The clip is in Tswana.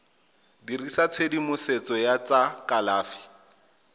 dirisa tshedimosetso ya tsa kalafi